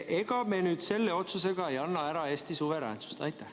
Ega me nüüd selle otsusega ei anna ära Eesti suveräänsust?